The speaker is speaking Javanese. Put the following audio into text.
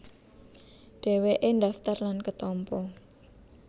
Dhèwèké ndhaftar lan ketampa